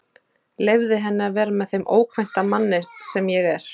Leyfði henni að vera með þeim ókvænta manni sem ég er.